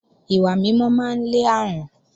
Ìwà mímọ́ máa ń lé àrùn